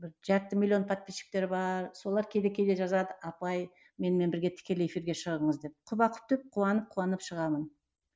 бір жарты миллион подписчиктері бар солар кейде кейде жазады апай менімен бірге тікелей эфирге шығыңыз деп құба құп деп қуанып қуанып шығамын